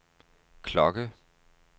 klokke